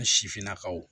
An sifinnakaw